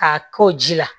K'a k'o ji la